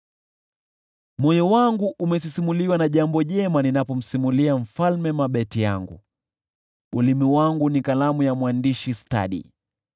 Moyo wangu umesisimuliwa na jambo jema ninapomsimulia mfalme mabeti yangu; ulimi wangu ni kalamu ya mwandishi stadi.